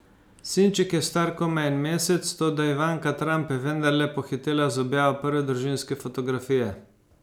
Sinček je star komaj en mesec, toda Ivanka Trump je vendarle pohitela z objavo prve družinske fotografije.